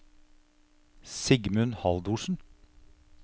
Sigmund Haldorsen